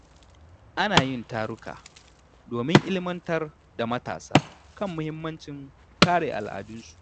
Ana yin taruka domin ilmantar da matasa kan muhimmancin kare al’adunsu.